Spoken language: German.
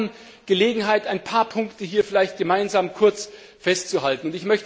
Aber wir haben Gelegenheit, ein paar Punkte hier vielleicht gemeinsam kurz festzuhalten.